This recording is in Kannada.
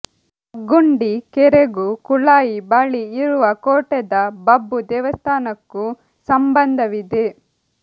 ಬಗ್ಗುಂಡಿ ಕೆರೆಗೂ ಕುಳಾಯಿ ಬಳಿ ಇರುವ ಕೋಟೆದ ಬಬ್ಬು ದೈವಸ್ಥಾನಕ್ಕೂ ಸಂಬಂಧವಿದೆ